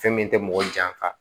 Fɛn min tɛ mɔgɔ janfa